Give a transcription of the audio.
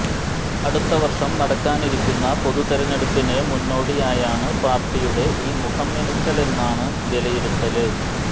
അടുത്തവര്ഷം നടക്കാനിരിക്കുന്ന പൊതുതിരഞ്ഞെടുപ്പിന് മുന്നോടിയായാണ് പാര്ട്ടിയുടെ ഈ മുഖം മിനുക്കലെന്നാണ് വിലയിരുത്തല്